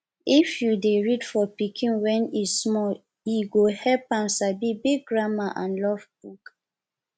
if u dey read for pikin when e small e go help am sabi big grammar and love book